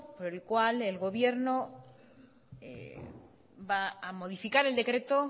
por el cual el gobierno va a modificar el decreto